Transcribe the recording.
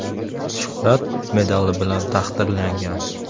“Shuhrat” medali bilan taqdirlangan.